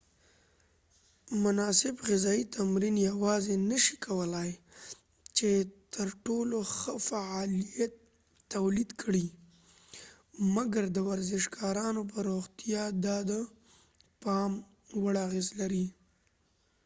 مناسب غذایې تمرین یواځی نه شي کولای چې ترټولو ښه فعالیت تولید کړي مګر د ورزشکارانو په روغتیا دا د پام وړ اغیز لري